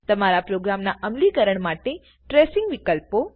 તમારા પ્રોગ્રામના અમલીક્ર્ણ માટે ટ્રેસીંગ વિકલ્પો